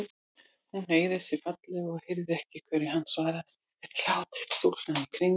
Hún hneigði sig fallega og heyrði ekki hverju hann svaraði fyrir hlátri stúlknanna í kring.